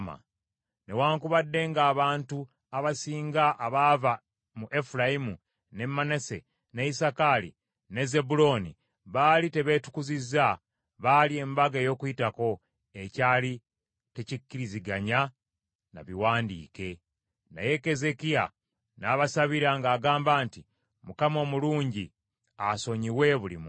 Newaakubadde ng’abantu abasinga abaava mu Efulayimu, ne Manase, ne Isakaali, ne Zebbulooni baali tebeetukuzizza, baalya Embaga ey’Okuyitako, ekyali tekikkiriziganya na biwandiike. Naye Keezeekiya n’abasabira ng’agamba nti, “ Mukama omulungi asonyiwe buli muntu